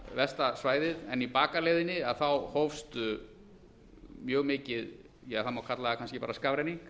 versta svæðið en í bakaleiðinni hófst mjög mikið það má kalla það kannski bara skafrenningur